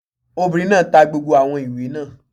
Obìnrin náà ta gbogbo àwọn ìwé náà